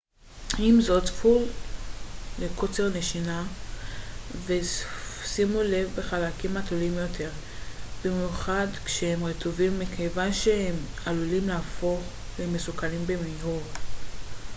עם זאת צפו לקוצר נשימה ושימו לב בחלקים התלולים יותר במיוחד כשהם רטובים מכיוון שהם עלולים להפוך למסוכנים במהירות